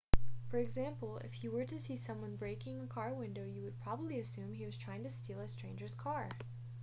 for example if you were to see someone breaking a car window you would probably assume he was trying to steal a stranger's car